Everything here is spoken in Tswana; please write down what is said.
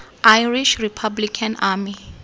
irish republican army